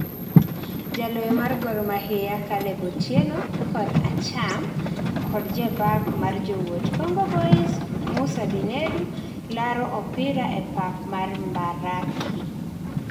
jaloyo mar Gor Mahia Caleb Otieno [kor acham] kod jabak mar Jowuot Congo Boys , Musa Binedu laro opira e pap mar mbaraki